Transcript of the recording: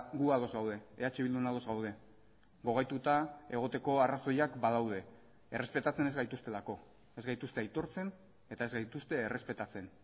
gu ados gaude eh bildun ados gaude gogaituta egoteko arrazoiak badaude errespetatzen ez gaituztelako ez gaituzte aitortzen eta ez gaituzte errespetatzen